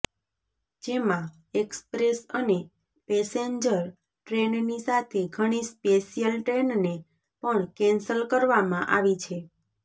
જેમાં એક્સપ્રેસ અને પેસેન્જર ટ્રેનની સાથે ઘણી સ્પેશિયલ ટ્રેનને પણ કેન્સલ કરવામાં આવી છે